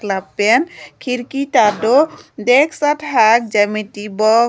lapen khiriki ta do decks athak geometry box .